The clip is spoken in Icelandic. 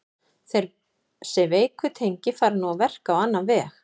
Þessi veiku tengi fara nú að verka á annan veg.